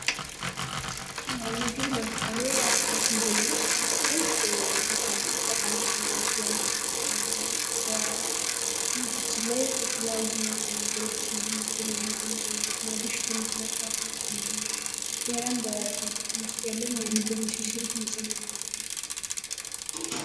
ምግብ ለምሳሌ አትክልትን ብንወስድ አትክልት በጣም ጠቃሚ የሆነ የምግብ አይነት ሲሆን ከነዚህም ውስጥ በሰውነታችን ላይ የተለያዩ ንጥረነገሮችን እንድናገኝ ያደርገናል፣ እንደገና በሽታ የመከላከል አቅማችንን ይጨምርልናል፣ ሌላም በሰውነታችን ውስጥ ያለውን የምግብ እንሽርሽሪት እንዲጨምር ያደርጋል።